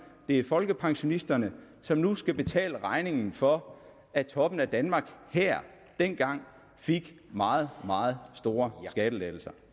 det er folkepensionisterne som nu skal betale regningen for at toppen af danmark dengang fik meget meget store skattelettelser